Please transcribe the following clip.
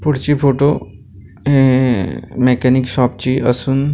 पुढची फोटो ऐ ऐ ह मेक्यानिक शॉप ची असून--